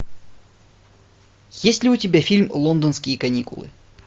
есть ли у тебя фильм лондонские каникулы